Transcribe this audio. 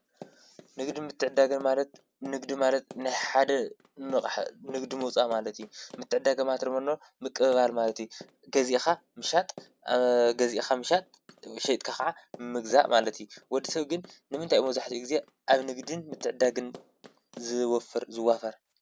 ንግድን ምትዕድዳግን ማለት ንግዲ ማለት ንሓደ ንግዲ ምውፃእ ማለት እዩ፡፡ ምትዕድዳግን ድማ ምቅብባል ማለት እዩ፡፡ ገዚእካ ምሸጥ ሸይጥካ ከዓ ምግዛእ ማለት እዩ፡፡ ወዲ ሰብ ግን ንምንታይ እዩ መብዛሕትኡ ግዜ ኣብ ንግድን ምትዕድዳግን ዝወፍር ዝዋፈር?